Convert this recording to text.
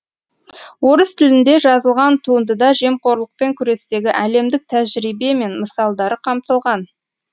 орыс тілінде жазылған туындыда жемқорлықпен күрестегі әлемдік тәжірибе мен мысалдары қамтылған